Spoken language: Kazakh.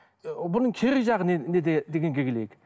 бұның кері жағы неде дегенге келейік